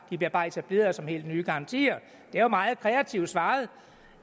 de bliver bare etableret som helt nye garantier det er jo meget kreativt svaret